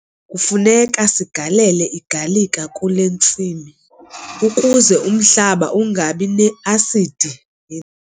Kufuneka sigalele igalika kule ntsimi ukuze umhlaba ungabi ne-asidi eninzi.